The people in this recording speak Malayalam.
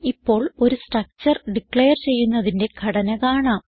ഇപ്പോൾ ഒരു സ്ട്രക്ചർ ഡിക്ലയർ ചെയ്യുന്നതിന്റെ ഘടന കാണാം